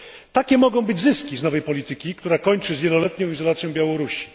Takie mogą być zyski z nowej polityki, która kończy z wieloletnią izolacją Białorusi.